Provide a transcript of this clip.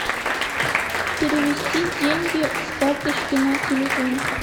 перевести деньги с карточки на телефон